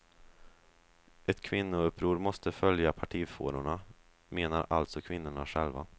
Ett kvinnouppror måste följa partifårorna, menar alltså kvinnorna själva.